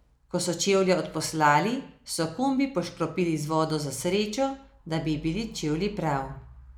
Ko so čevlje odposlali, so kombi poškropili z vodo za srečo, da bi ji bili čevlji prav.